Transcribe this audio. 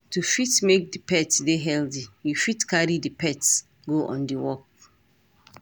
to fit make di pet dey healthy you fit carry di pets go on walks